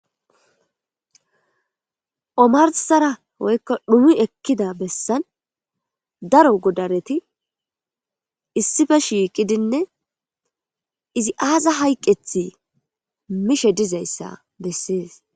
Omarsara woykka dhumi ekkida bessan daro godareti issifa shiiqidinne izi aaza hayqethi mishe dizayssa bessees.